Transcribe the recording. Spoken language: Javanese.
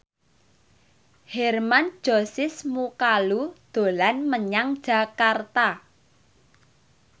Hermann Josis Mokalu dolan menyang Jakarta